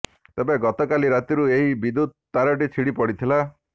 ତେବେ ଗତକାଲି ରାତିରୁ ଏହି ବିଦ୍ୟୁତ ତାରଟି ଛିଣ୍ଡି ପଡ଼ିଥିଲା